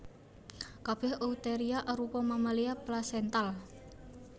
Kabèh Eutheria arupa mamalia plasental